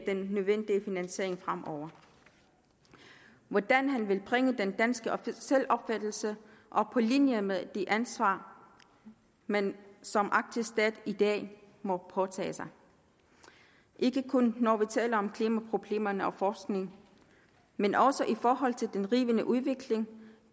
den nødvendige finansiering fremover hvordan han vil bringe den danske selvopfattelse på linje med det ansvar man som arktisk stat i dag må påtage sig ikke kun når vi taler om klimaproblemerne og forskningen men også i forhold til den rivende udvikling